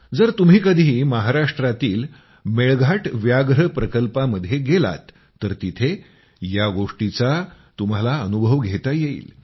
जर तुम्ही कधी महाराष्ट्रातील मेळघाट व्याघ्र प्रकल्पामध्ये गेलात तर तिथं या गोष्टीचा तुम्हाला अनुभव घेता येईल